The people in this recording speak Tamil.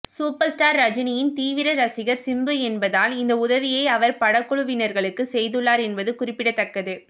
சூப்பர் ஸ்டார் ரஜினியின் தீவிர ரசிகர் சிம்பு என்பதால் இந்த உதவியை அவர் படக்குழுவினர்களுக்கு செய்துள்ளார் என்பது குறிப்பிடத்தக்கது